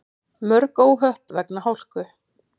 Mörg óhöpp vegna hálku